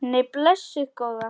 Nei, blessuð góða.